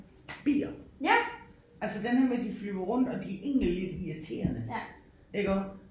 Bier altså den her med de flyver rundt og de er egentlig lidt irriterende iggå